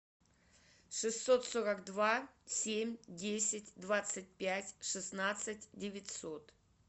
шестьсот сорок два семь десять двадцать пять шестнадцать девятьсот